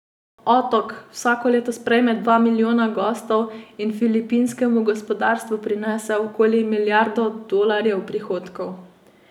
Otok vsako leto sprejme dva milijona gostov in filipinskemu gospodarstvu prinese okoli milijardo dolarjev prihodkov.